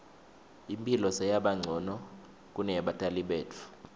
imphilo seyabancono kuneyebatali betfu